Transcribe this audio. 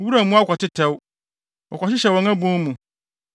Wuram mmoa kɔtetɛw; wɔkɔhyehyɛ wɔn abon mu.